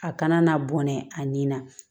A kana na bɔnɛ a nin na